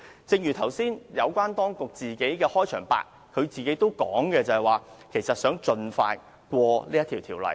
正如局長剛才在自己的開場白中表示，想盡快通過這項《條例草案》。